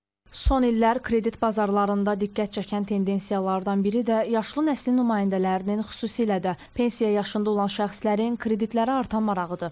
Son illər kredit bazarlarında diqqət çəkən tendensiyalardan biri də yaşlı nəslin nümayəndələrinin, xüsusilə də pensiya yaşında olan şəxslərin kreditlərə artan marağıdır.